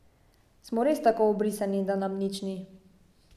Smo res tako ubrisani, da nam nič ni?